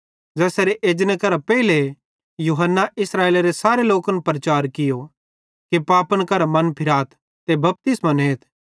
ज़ेसेरे एजने करां पेइले यूहन्ना इस्राएलेरे सारे लोकन प्रचार कियो कि पापन करां मनफिराथ ते बपतिस्मो नेथ